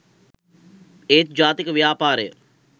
ඒත් ජාතික ව්‍යාපාරය